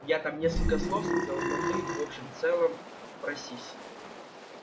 я там несколько слов сказал но ты в общем целом просись